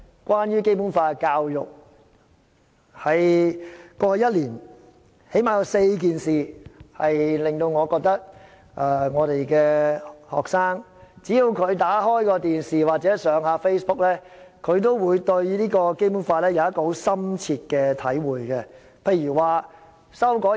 關於《基本法》的教育，在過去一年最少發生了4件事，只要學生扭開電視機或瀏覽 Facebook， 便會對《基本法》產生深切體會。